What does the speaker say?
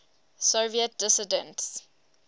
soviet dissidents